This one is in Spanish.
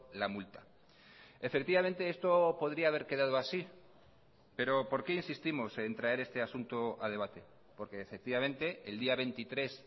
la multa efectivamente esto podría haber quedado así pero por qué insistimos en traer este asunto a debate porque efectivamente el día veintitrés